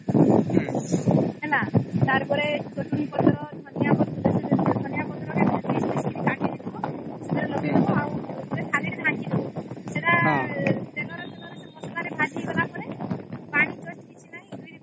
ହେଲା ତାର ପରେ ଧନିଆ ପତ୍ର ପିସ ପିସ କି କାଟିଦେଇଥିବା ଆଉ ସେଥିରେ ଲଗେଇଦେବା ସେଟା ତେଲ ତେଲ ରେ ଭାଜି ହେଇଗଲା ପରେ ପାଣି ରେ